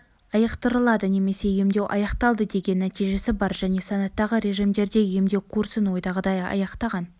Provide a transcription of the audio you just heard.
айықтырылды немесе емдеу аяқталды деген нәтижесі бар және санаттағы режимдерде емдеу курсын ойдағыдай аяқтаған